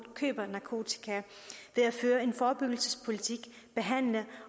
køber narkotika ved at føre en forebyggelsespolitik behandle